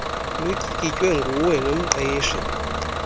lutyikitywe nguwe nomqeshi